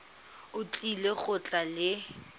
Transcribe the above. o tlile go tla le